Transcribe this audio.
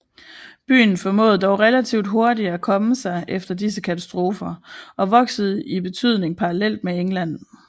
Byen formåede dog relativt hurtigt at komme sig efter disse katastrofer og voksede i betydning parallelt med England